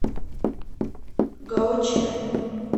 гаочэн